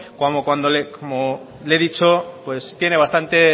como le he dicho pues tiene bastante